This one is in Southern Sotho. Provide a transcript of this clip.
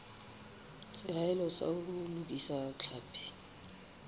seahelo sa ho lokisa tlhapi